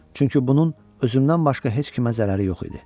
Çünki bunun özümdən başqa heç kimə zərəri yox idi.